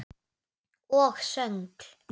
Og söngl.